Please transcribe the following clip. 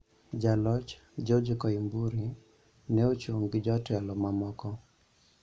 Jaloch, George Koimburi, ne ochung' gi jotelo mamoko,